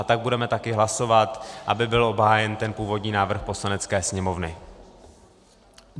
A tak budeme taky hlasovat, aby byl obhájen ten původní návrh Poslanecké sněmovny.